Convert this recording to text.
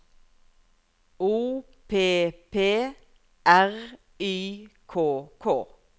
O P P R Y K K